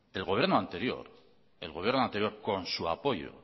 el gobierno anterior con su apoyo